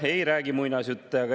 Ei räägi muinasjutte.